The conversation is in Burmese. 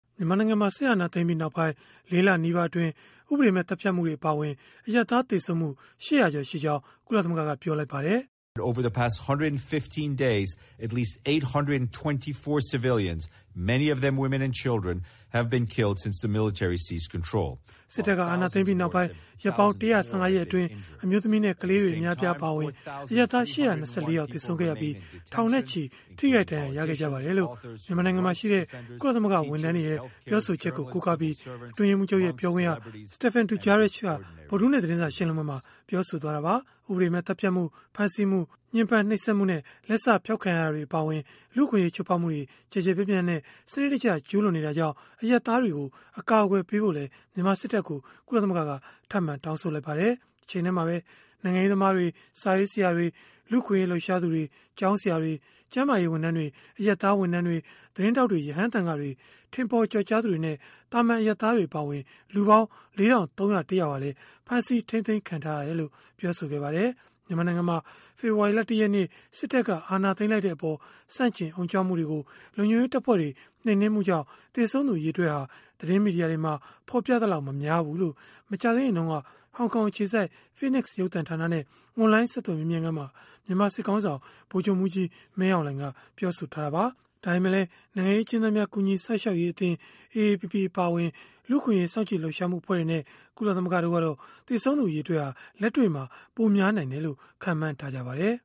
မြန်မာနိုင်ငံမှာ စစ်အာဏာသိမ်းပြီးနောက်ပိုင်း ၄ လနီးပါးအတွင်း ဥပဒေမဲ့ သတ်ဖြတ်မှုတွေ အပါအဝင် အရပ်သား သေဆုံးမှု ၈၀၀ ကျော် ရှိကြောင်း ကုလသမဂ္ဂက ပြောလိုက်ပါတယ်။ “စစ်တပ်က အာဏာသိမ်းပြီးနောက်ပိုင်း ရက်ပေါင်း ၁၁၅ ရက်အတွင်း အမျိုးသမီးနဲ့ ကလေးတွေ အများအပြား အပါအဝင် အရပ်သား ၈၂၄ ယောက် သေဆုံးခဲ့ရပြီး၊ ထောင်နဲ့ချီ ထိခိုက်ဒဏ်ရာရခဲ့ကြပါတယ်။” လို့ မြန်မာနိုင်ငံမှာရှိတဲ့ ကုလသမဂ္ဂ ဝန်ထမ်းတွေရဲ့ ပြောဆိုချက်ကို ကိုးကားပြီး အတွင်းရေးမှူးချုပ်ရဲ့ ပြောခွင့်ရ Stéphane Dujarric က ဗုဒ္ဓဟူးနေ့ သတင်းစာ ရှင်းလင်းပွဲမှာ ပြောဆိုသွားတာပါ။ ဥပဒေမဲ့ သတ်ဖြတ်မှု၊ ဖမ်းဆီးမှု၊ ညှဉ်းပမ်းနှိပ်စက်မှုနဲ့ လက်စဖျောက်ခံရတာတွေ အပါအဝင် လူ့အခွင့်အရေး ချိုးဖောက်မှုတွေ ကျယ်ကျယ်ပြန့်ပြန့်နဲ့ စနစ်တကျ ကျုးလွန်နေတာကြောင့်၊ အရပ်သားတွေကို အကာအကွယ်ပေးဖို့လည်း မြန်မာစစ်တပ်ကို ကုလသမဂ္ဂက ထပ်မံတောင်းဆို လိုက်ပါတယ်။ တချိန်တည်းမှာပဲ နိုင်ငံရေးသမားတွေ၊ စာရေးဆရာတွေ၊ လူ့အခွင့်အရေး လှုပ်ရှားသူတွေ၊ ကျောင်းဆရာတွေ၊ ကျန်းမာရေး ဝန်ထမ်းတွေ။ အရပ်သားဝန်ထမ်းတွေ၊ သတင်းထောက်တွေ၊ ရဟန်းသံဃာတွေ၊ ထင်ပေါ်ကျော်ကြားသူတွေနဲ့ သာမာန် အရပ်သားတွေ အပါအဝင် လူပေါင်း ၄,၃၀၁ ယောက်ဟာလည်း ဖမ်းဆီးထိန်းသိမ်းခံထားရတယ်လို့ ပြောပါတယ်။ မြန်မာနိုင်ငံမှာ ဖေဖော်ဝါရီလ ၁ ရက်နေ့ စစ်တပ်က အာဏာသိမ်းလိုက်တဲ့အပေါ် ဆန့်ကျင်အုံကြွမှုတွေကို လုံခြုံရေးတပ်ဖွဲ့တွေ နှိမ်နင်းမှုကြောင့် သေဆုံးသူ အရေအတွက်ဟာ သတင်းမီဒီယာတွေမှာ ဖော်ပြသလောက် မများဘူးလို့ မကြာသေးခင်တုန်းက ဟောင်ကောင်အခြေစိုက် Phoenix ရုပ်သံဌာနနဲ့ အွန်လိုင်း ဆက်သွယ်မေးမြန်းခန်းမှာ မြန်မာစစ်ခေါင်းဆောင် ဗိုလ်ချုပ်မှူးကြီး မင်းအောင်လှိုင်က ပြောဆိုထားတာပါ။ ဒါပေမဲ့လည်း နိုင်ငံရေး အကျဉ်းသားများ ကူညီစောင့်ရှောက်ရေးအသင်း AAPP အပါအဝင် လူ့အခွင့်အရေး စောင့်ကြည့်လှုပ်ရှားမှု အဖွဲ့တွေနဲ့ ကုလသမဂ္ဂ တို့ကတော့ သေဆုံးသူ အရေအတွက်ဟာ လက်တွေ့မှာ ပိုများနိုင်တယ်လို့ ခန့်မှန်းထားကြပါတယ်